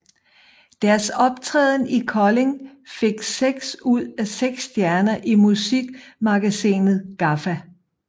Deres optræden i Kolding fik seks ud af seks stjerner i musikmagasinet GAFFA